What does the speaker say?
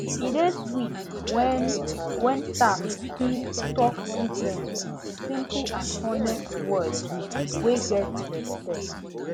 e dey sweet when when staff fit talk treatment with simple and honest words wey get respect